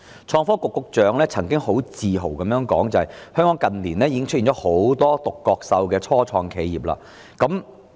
創科局局長曾經很自豪地表示，香港近年已出現了許多"獨角獸"的初創企業。